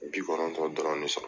Bi kɔnɔntɔn dɔrɔn de sɔrɔ